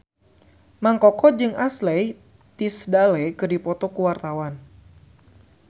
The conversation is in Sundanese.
Mang Koko jeung Ashley Tisdale keur dipoto ku wartawan